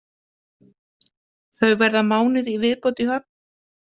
Þau verða mánuð í viðbót í Höfn.